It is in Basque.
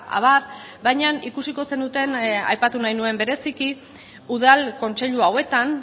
abar baina ikusiko zenuten aipatu nahi nuen bereziki udal kontseilu hauetan